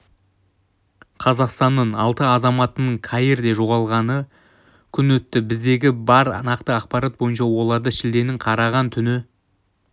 қазақстанның алты азаматының каирде жоғалғалы күн өтті біздегі бар нақты ақпарат бойынша оларды шілденің қараған түні